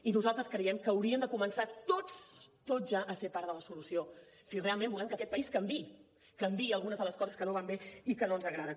i nosaltres creiem que hauríem de començar tots tots ja a ser part de la solució si realment volem que aquest país canviï canviï algunes de les coses que no van bé i que no ens agraden